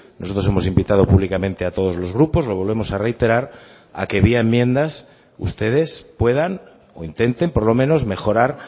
nosotros hemos invitado públicamente a todos los grupos lo volvemos a reiterar a que vía enmiendas ustedes puedan o intenten por lo menos mejorar